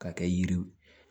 K'a kɛ yiri